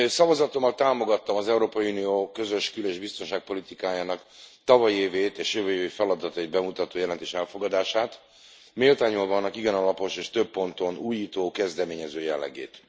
Szavazatommal támogattam az Európai Unió közös kül és biztonságpolitikájának tavalyi évét és jövő évi feladatait bemutató jelentés elfogadását, méltányolva annak igen alapos és több ponton újító, kezdeményező jellegét.